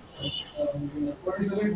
हो.